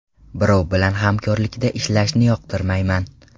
Birov bilan hamkorlikda ishlashni yoqtirmayman.